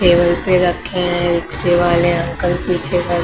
table पे रखे हैं रिक्शे वाले अंकल पीछे में--